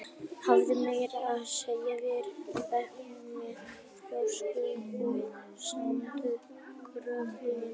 Hafði meira að segja verið í bekk með þjóðskáldum og annáluðum gáfumönnum.